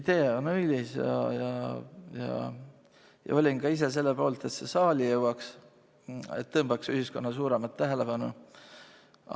Idee on õilis ja olin ka ise selle poolt, et see saali jõuaks, et see tõmbaks ühiskonna suuremat tähelepanu.